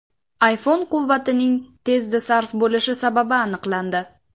iPhone quvvatining tezda sarf bo‘lishi sababi aniqlandi.